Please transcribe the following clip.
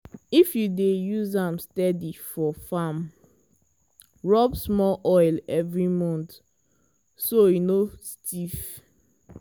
if you dey use am steady for farm rub small oil every month so e no stiff.